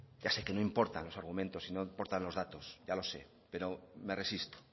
ya sé que no importante los argumentos y no importan los datos ya lo sé pero me resisto